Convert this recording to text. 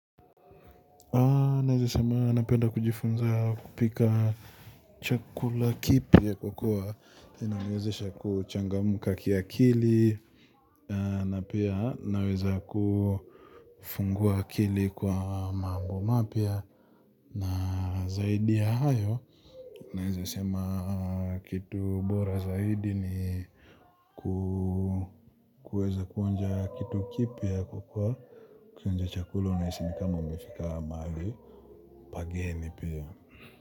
Nawezasema napenda kujifunza kupika chakula kipya kwa kuwa inaniwezesha kuchangamka kiakili na napia naweza kufungua akili kwa mambo mapya na zaidi ya hayo. Nawezasema kitu bora zaidi niku kueza kuonja kitu kipya hukua ukionja chakula unahisi nikama umefika mahali pageni pia.